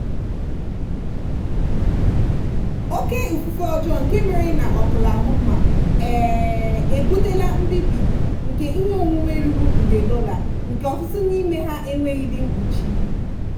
oke ifufe ọjọọ nke mere na oklahoma um ebutela mbibi nke ihe onwunwe ruru nde dollar nke ọtụtụ n'ime ha enweghịdị mkpuchi.